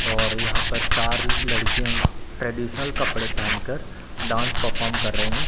और यहां पर चार लड़कियां ट्रेडीशनल कपड़े पहन कर डांस परफॉर्म कर रही है।